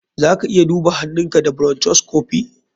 Zaka iya duba huhunka da bronchoscopy.